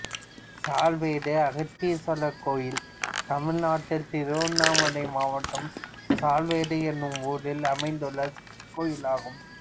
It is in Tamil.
சாலவேடு அகத்தீஸ்வரர் கோயில் தமிழ்நாட்டில் திருவண்ணாமலை மாவட்டம் சாலவேடு என்னும் ஊரில் அமைந்துள்ள சிவன் கோயிலாகும்